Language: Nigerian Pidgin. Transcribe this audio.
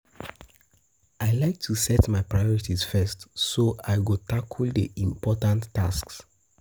I like to set my priorities first, so I go tackle the important tasks.